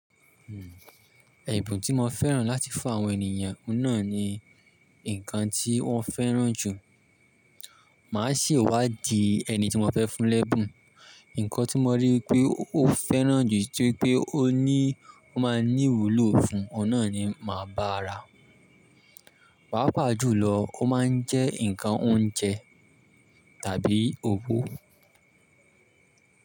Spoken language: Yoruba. Èbùn tí mo fẹ́ràn láti fún àwọn ènìyàn náà ni ǹkan tí wọ́n fẹ́ràn jù. Máa se'wádìí ẹni tí mo fẹ́ fún l'ẹ́bùn. Ǹkan tí mo rí pé ó fẹ́ràn jù tópé ó ní, ó máa ní ìwúlò fún, ọ̀un nà ni màá bá ra. Pàápàá jùlọ ó máa ń jẹ́ ǹkan oúnjẹ tàbí owó.